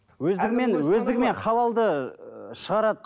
өздігімен өздігімен халалды шығарады